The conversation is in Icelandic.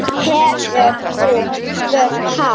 Hefurðu spurt hann?